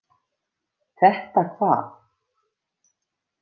Þetta hvað?